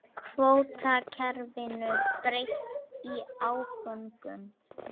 Kvótakerfinu breytt í áföngum